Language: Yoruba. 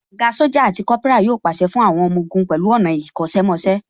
Ògá Sójà àti Kópírà yóò pàṣẹ fún àwọn ọmọ ogun pẹ̀lú ọ̀nà ìkọ́ṣẹ́ mọṣẹ́